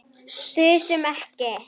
Þusum ekki.